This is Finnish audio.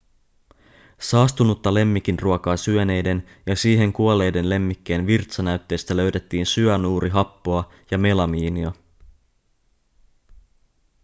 saastunutta lemmikinruokaa syöneiden ja siihen kuolleiden lemmikkien virtsanäytteistä löydettiin syanuurihappoa ja melamiinia